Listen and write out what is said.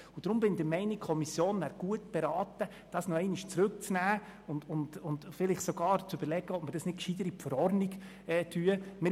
Deshalb bin ich der Meinung, die Kommission wäre gut beraten, Artikel 31e noch einmal zurückzunehmen und vielleicht sogar zu überlegen, ob eine Regelung in der Verordnung nicht vernünftiger wäre.